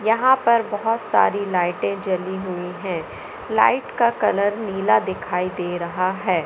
यहां पर बोहोत सारी लाइटें जली हुई है लाइट का कलर नीला दिखाई दे रहा है।